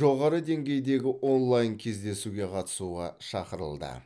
жоғары деңгейдегі онлайн кездесуге қатысуға шақырылды